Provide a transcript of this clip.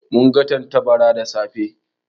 Mun ga tattabara da safe.